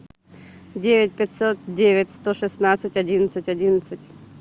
девять пятьсот девять сто шестнадцать одиннадцать одиннадцать